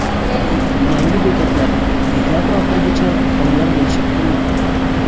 Yangi bekatlar dekabr oxirigacha tayyor bo‘lishi kutilmoqda.